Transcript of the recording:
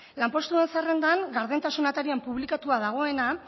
lanpostuen zerrendan gardentasuna atarian publikatuta dagoena